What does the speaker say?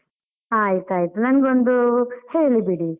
ಆಯ್ತು ಆಯ್ತು, ನನ್ಗೊಂದು ಹೇಳಿಬಿಡಿ.